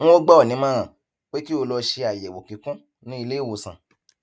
n ó gbà ọ ní ìmọràn pé kí o lọ ṣe àyẹwò kíkún ní iléìwòsàn